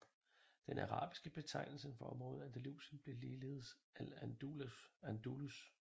Den arabiske betegnelse for området Andalusien blev ligeledes al Andalus